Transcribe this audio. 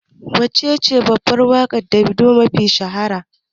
Waccece babbar waƙar Davido mafi shahara?